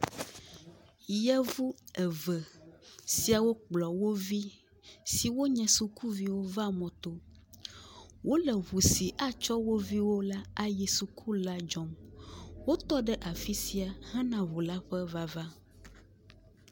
Yevu eve siawo kplɔ wovi siwo nye sukuviwo va mɔto, wole ʋu si atsɔ woviwo ayi suku la dzɔ, wotɔ ɖe afisia he na ʋu la ƒe vava.